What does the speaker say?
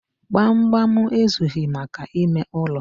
Gbamgbam ezughị maka ime ụlọ.